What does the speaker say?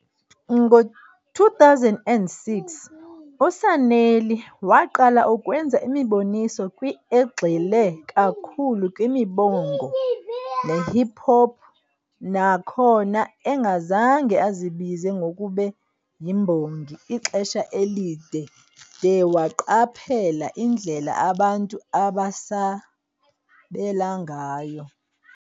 Ngo-2006, uSanelly waqala ukwenza imiboniso kwi egxile kakhulu kwimibongo nehip hop, nakhona engazange azibize ngokube yimbongi ixesha elide de waqaphela indlela abantu abasabela ngayo.